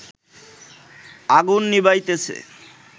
আগুন নিবাইতেছে